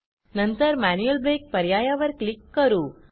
नंतर manual break पर्यायावर click करू